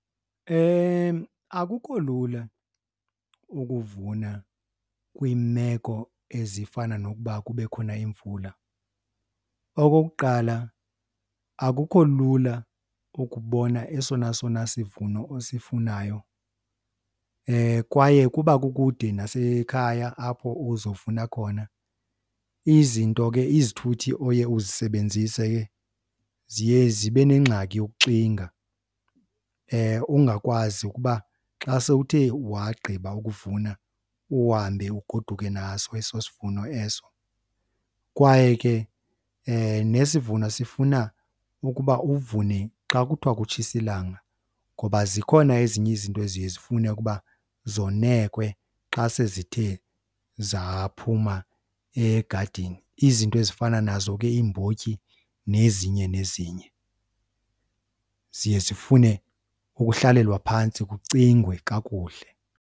Akukho lula ukuvuna kwiimeko ezifana nokuba kube khona imvula. Okokuqala akukho lula ukubona esona sona sivuno osifunayo kwaye ukuba kukude nasekhaya apho uzofuna khona izinto ke izithuthi oye uzisebenzise ke ziye zibe nengxaki yokuxinga, ungakwazi ukuba xa sewuthe wagqiba uvuna uhambe ugoduke naso eso sivuno eso. Kwaye ke nesivuno sifuna ukuba uvune xa kuthiwa kutshisa ilanga ngoba zikhona ezinye izinto eziye zifune ukuba zonekwe xa sezithe zaphuma egadini. Izinto ezifana nazo ke iimbotyi nezinye nezinye, ziye zifune ukuhlalelwa phantsi kucingwe kakuhle.